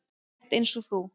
Rétt eins og þú.